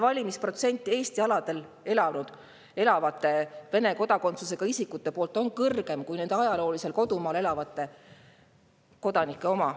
Valimisprotsent Eesti aladel elavate Vene kodakondsusega isikute seas on kõrgem kui nende ajaloolisel kodumaal elavate oma.